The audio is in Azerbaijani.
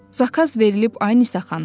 Zakaz verilib Ay Nisa xanım.